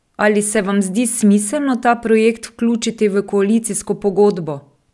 Ali se vam zdi smiselno ta projekt vključiti v koalicijsko pogodbo?